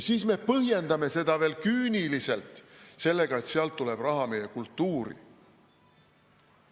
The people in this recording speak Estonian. Siis me põhjendame seda veel küüniliselt sellega, et sealt tuleb raha meie kultuuri jaoks.